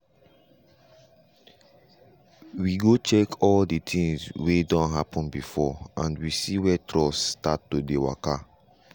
we go check all the things wey don happen before and we see where trust start to dey waka.